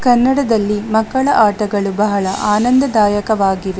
ಕನ್ನಡದಲ್ಲಿ ಮಕ್ಕಳ ಆಟಗಳು ಬಹಳ ಆನಂದದಾಯಕವಾಗಿ --